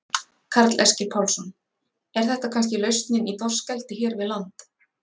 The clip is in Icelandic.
Karl Eskil Pálsson: Er þetta kannski lausnin í þorskeldi hér við land?